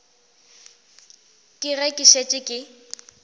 ke ge ke šetše ke